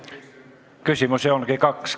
Küsimusi ongi kaks.